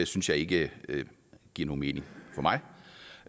synes jeg ikke giver nogen mening for mig